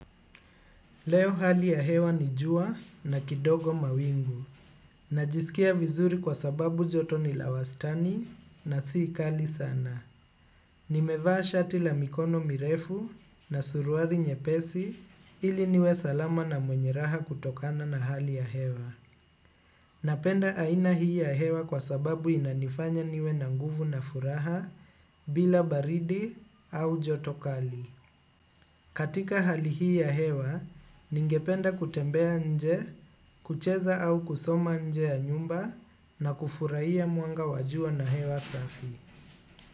Leo hali ya hewa ni jua na kidogo mawingu. Najisikia vizuri kwa sababu joto ni la wastani na si kali sana. Nimevaa shati la mikono mirefu na suruali nyepesi ili niwe salama na mwenye raha kutokana na hali ya hewa. Napenda aina hii ya hewa kwa sababu inanifanya niwe na nguvu na furaha bila baridi au joto kali. Katika hali hii ya hewa, ningependa kutembea nje, kucheza au kusoma nje ya nyumba na kufurahia mwanga wa jua na hewa safi.